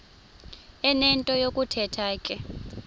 enento yokuthetha ke